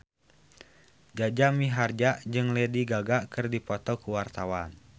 Jaja Mihardja jeung Lady Gaga keur dipoto ku wartawan